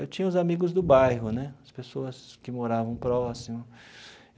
Eu tinha os amigos do bairro né, as pessoas que moravam próximo.